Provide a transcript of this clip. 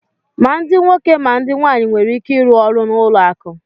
Ma ndị nwoke ma ndị nwaanyị nwere ike ịrụ ọrụ na ụlọ akụ